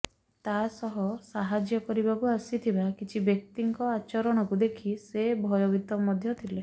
ତାସହ ସାହାଯ୍ୟ କରିବାକୁ ଆସିଥିବା କିଛି ବ୍ୟକ୍ତିଙ୍କ ଆଚରଣକୁ ଦେଖି ସେ ଭୟଭୀତ ମଧ୍ୟ ଥିଲେ